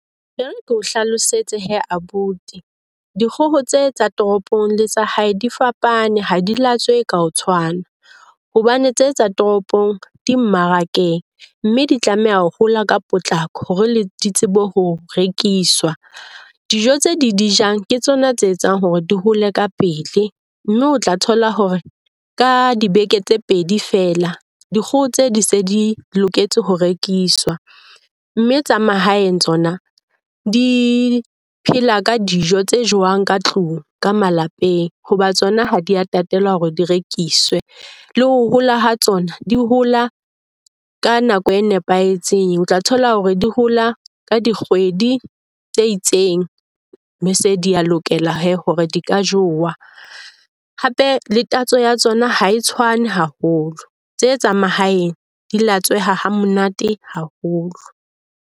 E re ke o hlalosetse he abuti. Dikgoho tse tsa toropong le tsa hae di fapane ha di la tswehe ka ho tshwana. Hobane tse tsa toropong di mmarakeng mme di tlameha ho hola ka potlako hore le di tsebe ho rekiswa. Dijo tse di di jang ke tsona tse etsang hore di hole ka pele mme o tla thola hore ka dibeke tse pedi fela dikgoho tseo di se di loketse ho rekiswa. Mme tsa mahaeng tsona di phela ka dijo tse jewang ka tlung ka malapeng. Hoba tsona ha di a tatelwa hore di rekiswe le ho hola ha tsona di hola ka nako e nepahetseng. O tla thola hore di hola ka dikgwedi tse itseng be se di ka lokela hore di ka jewa. Hape le tatso ya tsona ha e tshwane haholo. Tse tsa mahaeng di latsweha ha monate haholo.